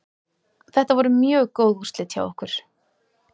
Þetta voru mjög góð úrslit hjá okkur.